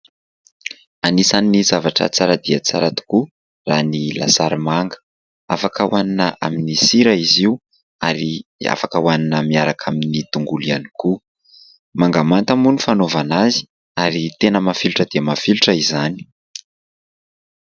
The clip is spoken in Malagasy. Anisan'ny zavatra tsara dia tsara tokoa raha ny lasary manga. Afaka hohanina amin'ny sira izy io ary afaka hohanina miaraka amin'ny tongolo ihany koa. Manga manta moa ny fanaovana azy ary tena mafilotra dia mafilotra izany.